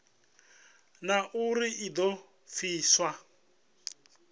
na uri i do pfiswa